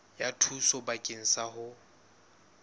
ya thuso bakeng sa ho